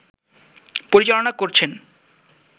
পরিচালনা করছেন